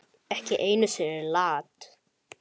Ég hafði öðlast tilgang þarna.